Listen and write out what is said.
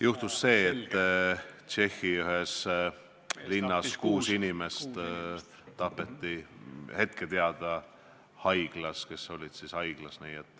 Juhtus see, et Tšehhi ühes linnas tapeti kuus inimest – hetkel on see teada –, kes olid haiglas.